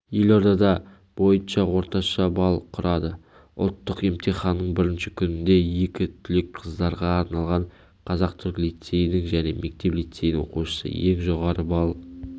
елордада бойынша орташа балл құрады ұлттық емтиханның бірінші күнінде екі түлек қыздарға арналған қазақ-түрік лицейінің және мектеп-лицейінің оқушысы ең жоғары балл